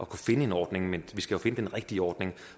kan finde en ordning men vi skal jo finde den rigtige ordning